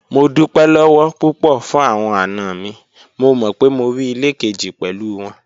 Mo dupẹ lọwọ pupọ fun awọn ana mi, mo mọ pe mo rii ile keji pẹlu wọn